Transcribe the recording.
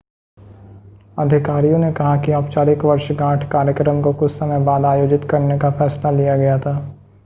अधिकारियों ने कहा कि औपचारिक वर्षगांठ कार्यक्रम को कुछ समय बाद आयोजित करने का फैसला लिया गया था